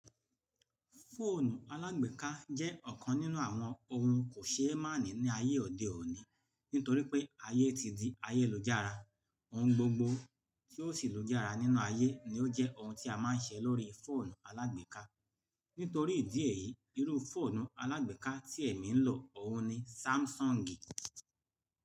Fóònù alágbèéká jẹ́ ọ̀kan nínú àwọn ohun kò ṣe é máàní ní ayé òde òní, nítorí pé ayé ti di ayé ìú-jàara. Ohun gbogbo tí ó sì lú jàara nínú ayé ni ó jẹ́ ohun tí a máa ń ṣe lórí fóònù alágbèéká. Nítorí ìdí èyí, irú fóònù alágbèéká tí èmi ń lò òun ni sámsọ̀ngì.